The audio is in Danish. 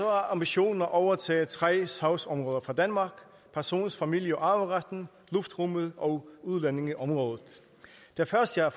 er ambitionen at overtage tre sagsområder fra danmark person familie og arveretten luftrummet og udlændingeområdet det første er